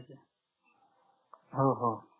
हो हो